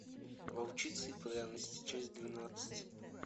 волчица и пряности часть двенадцать